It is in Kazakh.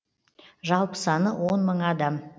жалпы саны он мың адам